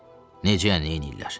Necə yəni, nəyləyirlər?